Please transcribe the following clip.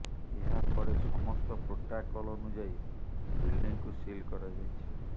ଏହା ପରେ ସମସ୍ତ ପ୍ରୋଟୋକଲ୍ ଅନୁଯାୟୀ ବିଲ୍ଡିଂକୁ ସିଲ୍ କରାଯାଇଛି